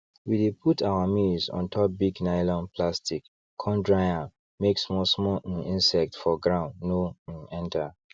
we dey put our maize ontop big nylon plastic con dry am make small small um insects for ground no um enter